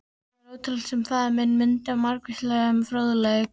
Það var ótrúlegt, sem faðir minn mundi af margvíslegum fróðleik.